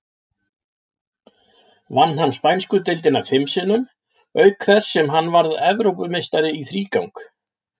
Vann hann spænsku deildina fim sinnum, auk þess sem hann varð Evrópumeistari í þrígang.